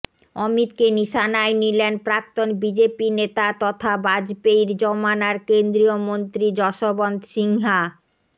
অমিতকে নিশানায় নিলেন প্রাক্তন বিজেপি নেতা তথা বাজপেয়ীর জমানার কেন্দ্রীয় মন্ত্রী যশবন্ত সিনহা